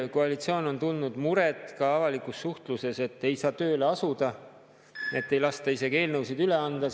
Koalitsioon on avalikus suhtluses tundnud muret, et ei saa tööle asuda, et ei lasta isegi eelnõusid üle anda.